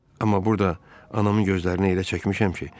Amma burada anamın gözlərinə elə çəkmişəm ki,